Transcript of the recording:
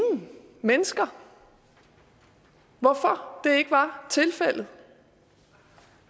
mennesker hvorfor det ikke var tilfældet